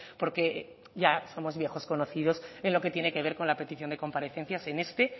porque ya somos viejos conocidos en lo que tiene que ver con la petición de comparecencias en este